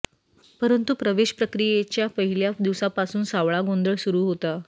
परंतु प्रवेश प्रक्रियेच्या पहिल्या दिवसापासून सावळा गोंधळ सुरू होता